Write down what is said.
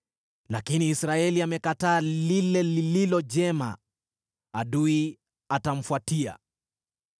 Lakini Israeli amekataa lile lililo jema, adui atamfuatia.